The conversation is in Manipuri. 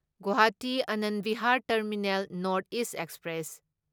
Guwahati Anand Bihar terminal north east express